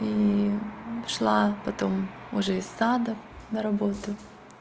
ии шла потом уже из садов на работу